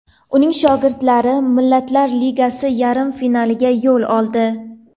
Uning shogirdlari Millatlar Ligasi yarim finaliga yo‘l oldi.